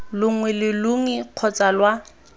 longwe lo longwe kgotsa lwa